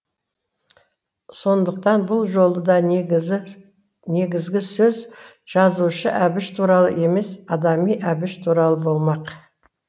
сондықтан бұл жолы да негізгі сөз жазушы әбіш туралы емес адами әбіш туралы болмақ